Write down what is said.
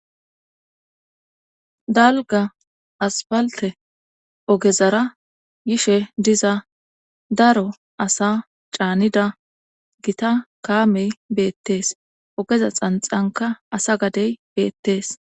Dalga asfalte ogezara yishe diza daro asa caanida gita kaamey beettees ogeza xanxanka asa gadey beettees.